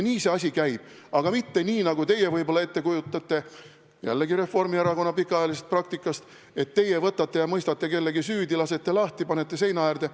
Nii see asi käib, aga mitte nii, nagu teie võib-olla kujutate jällegi Reformierakonna pikaajalise praktika põhjal ette, et teie võtate ja mõistate kellegi süüdi, lasete lahti, panete seina äärde.